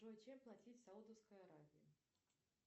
джой чем платить в саудовской аравии